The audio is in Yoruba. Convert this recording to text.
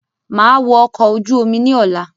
Màá wọ̀ ọkọ̀ ojú omi ní ọ̀la